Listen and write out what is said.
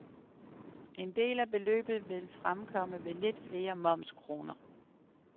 En del af beløbet vil fremkomme ved lidt flere momskroner.